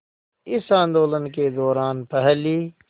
इस आंदोलन के दौरान पहली